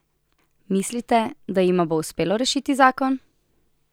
Mislite, da jima bo uspelo rešiti zakon?